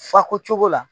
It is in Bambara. Fa ko cogo la